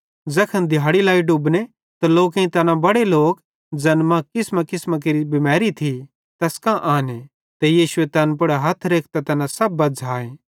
ज़ैखन दिहाड़ी लाई डुबने त लोकेईं तैना सब लोक ज़ैन मां किसमांकिसमां केरि बिमैरी थी तैस कां आने ते यीशुए तैन पुड़ हथ रेखतां तैना सब बज़्झ़ाए